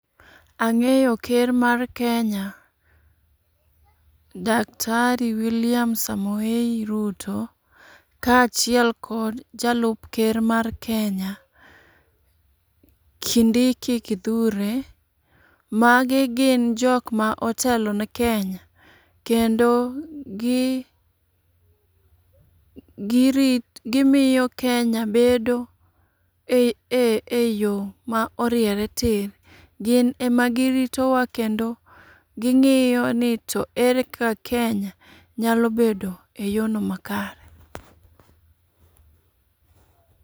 Ang'eyo ker mar Kenya. Daktari Wiliam Samoei Ruto kachiel kod jalup ker mar Kenya Kindiki Kithure. Magi gin jok ma otelone Kenya kendo gi girit gimiyo Kenya bedo eee eyo ma oriere tir. Gin ema gi ritowa kendo ging'iyoni to ere kaka Kenya nyalo bedo eyono makare.